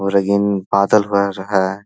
और रंगीन बादल हो रहा है।